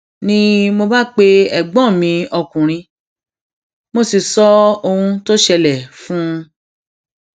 ni mo bá pe ẹgbọn mi ọkùnrin mo um sì sọ ohun tó ṣẹlẹ fún um un